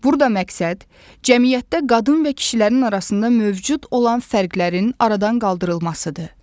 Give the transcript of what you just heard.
Burada məqsəd cəmiyyətdə qadın və kişilərin arasında mövcud olan fərqlərin aradan qaldırılmasıdır.